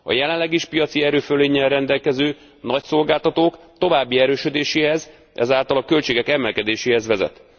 A jelenleg is piaci erőfölénnyel rendelkező nagyszolgáltatók további erősödéséhez, ezáltal a költségek emelkedéséhez vezet.